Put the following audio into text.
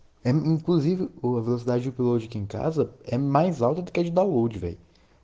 кузов камаза